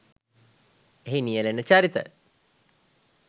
එහි නියැලෙන චරිත